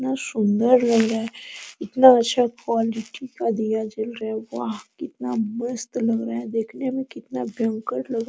कितना सुन्दर लग रहा है इतना सब क्वालिटी का दिया जल रहे है वाह कितना मस्त लग रहे है देखने में कितना भयंकर लग --